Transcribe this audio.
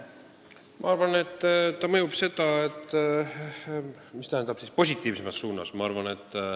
Ma arvan, et ta mõjutab seda positiivsemas suunas.